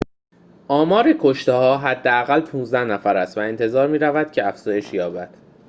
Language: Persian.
آمار کشته‌ها حداقل ۱۵ نفر است و انتظار می‌رود که افزایش یابد